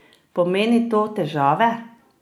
Pomeni to težave?